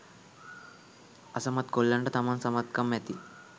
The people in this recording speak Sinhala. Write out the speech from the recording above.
අසමත් කොල්ලන්ට තමන් සමත්කම් ඇති